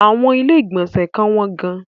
Àwọn ilé-ìgbọ̀nsẹ̀ kan wọ́n gan-an.